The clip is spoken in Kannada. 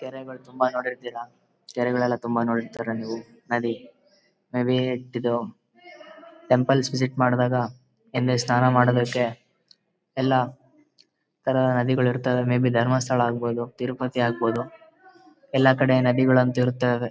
ಕೆರೆಗಳು ತುಂಬಾ ನೋಡಿರ್ತೀರ ಕೆರೆಗಳೆಲ್ಲಾ ತುಂಬಾ ನೋಡಿರ್ತೀರ. ನೀವು ನದಿ ಮೇ ಬಿ ಇದು ಟೆಂಪಲ್ ವಿಸಿಟ್ ಮಾಡುವಾಗ ಇಲ್ಲಿ ಸ್ನಾನ ಮಾಡುವುದಕ್ಕೆ ಎಲ್ಲಾ ಇತರ ನದಿಗಳು ಇರ್ತಾವೆ ಮೇ ಬಿ ಧರ್ಮಸ್ಥಳ ಆಗಬೋದು ತಿರುಪತಿ ಆಗಬೋದು ಎಲ್ಲಾ ಕಡೆ ನದಿ ಗಳು ಅಂತ ಇರುತ್ತಾವೆ.